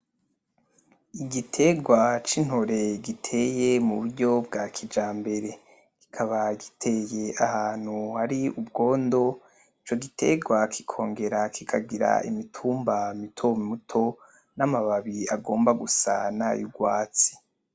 Igitegwa c’intore giteye mu buryo bwa kijambere, kikaba giteye ahantu hari ubwondo. Ico gitegwa kikongera kikagira imitumba mito mito n’amababi agomba gusa nay'urwatsi.